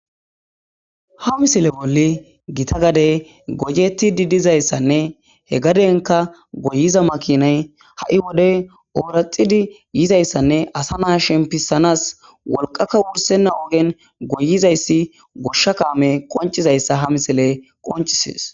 Ha missileza bolli giitta gadey goyetidi dizayissanne he gadenkk goyiza makinay ha'i wode oraxidi yizayissanne asa na shempisanas wolqaka wursena ogen goyizayissi goshsha kammey qoncizayssa ha missiley qoncises